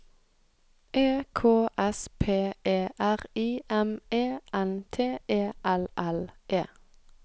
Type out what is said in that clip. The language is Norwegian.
E K S P E R I M E N T E L L E